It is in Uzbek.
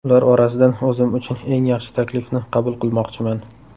Ular orasidan o‘zim uchun eng yaxshi taklifni qabul qilmoqchiman.